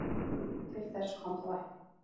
Til þess kom þó ekki